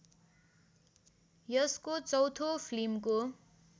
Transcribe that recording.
यसको चौथो फिल्मको